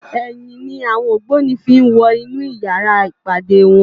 Èyin ni áwòn ógbóni fi n wò inú yàrá ipádé wòn